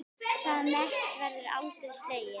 Það met verður aldrei slegið.